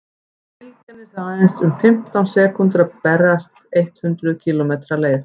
bylgjan er því aðeins um fimmtán sekúndur að berast eitt hundruð kílómetri leið